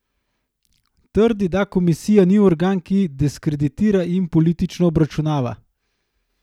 Trdi, da komisija ni organ, ki diskreditira in politično obračunava.